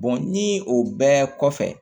ni o bɛɛ kɔfɛ